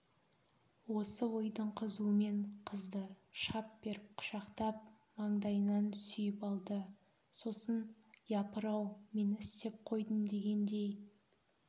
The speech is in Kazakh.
осы ойдың қызуымен қызды шап беріп құшақтап маңдайынан сүйіп алды сосын япырау мен істеп қойдым дегендей